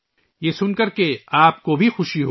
یہ سن کر آپ کو بھی خوش ہو گی